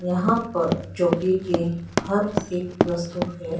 यहां पर चौकी के हर एक वस्तु है।